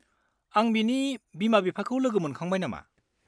आं बिनि बिमा-बिफाखौ लोगो मोनखांबाय नामा?